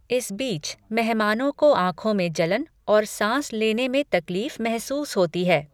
इस बीच, मेहमानों को आंखों में जलन और सांस लेने में तकलीफ महसूस होती है।